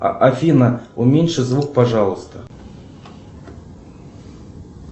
афина уменьши звук пожалуйста